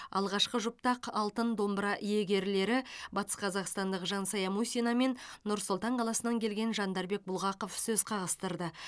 алғашқы жұпта ақ алтын домбыра иегерлері батысқазақстандық жансая мусина мен нұр сұлтан қаласынан келген жандарбек бұлғақов сөз қағыстырды